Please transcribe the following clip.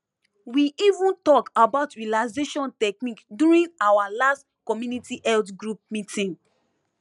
we even talk about relaxation technique during our last community health group meeting